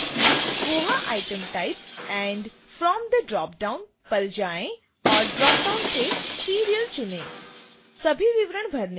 subfield c: koha item type and from the drop down पर जाएँ और dropdown से serial चुनें